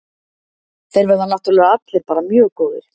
Þeir verða náttúrlega allir bara mjög góðir.